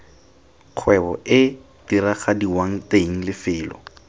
kgwebo ee diragadiwang teng lefelo